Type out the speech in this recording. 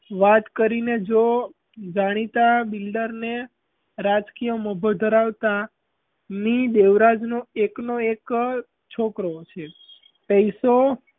વાત કરીને જો જાણીતાં builder ને રાજકીય મોભો ધરાવતાં મી. દેવરાજ નો એક નો એક જ છોકરો છે. પૈસો,